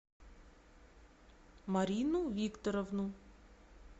марину викторовну